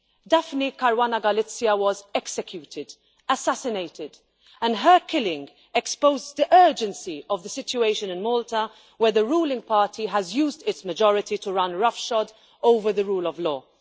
Daphne Caruana Galizia was executed assassinated and her killing exposed the urgency of the situation in Malta, where the ruling party has used its majority to ride roughshod over the rule of law.